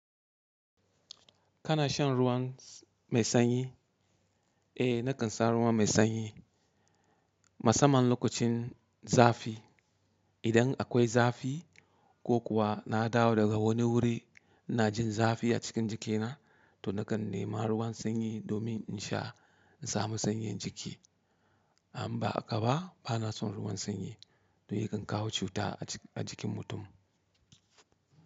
Kana shan ruwan mai sanyi? Eh nakan sha ruwan mai sanyi musamman lokacin zafi. Idan akwai zafi ko kuwa nadawo daga wani wuri inajin zafi acikin jikina to nakan nema ruwan sanyi domin insha insamu sanyin jiki. Amba haka ba banason ruwan sanyi yayi gaggawan cuta a jikin mutum.